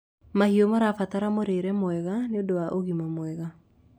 mahiũ marabatara mũrĩre mwega nĩũndũ wa ũgima mwega